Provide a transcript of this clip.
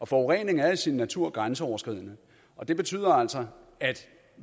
forurening er i sin natur grænseoverskridende og det betyder altså at